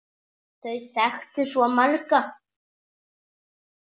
Þau þekktu svo marga.